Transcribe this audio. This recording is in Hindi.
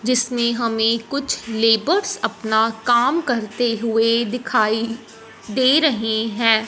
जिसमें कुछ लेबर्स अपना काम करते हुएं दिखाई दे रहे हैं।